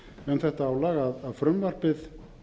um þetta álag að frumvarpið